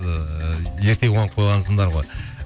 ыыы ерте қуанып қойғансыңдар ғой